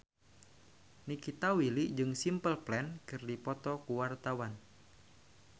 Nikita Willy jeung Simple Plan keur dipoto ku wartawan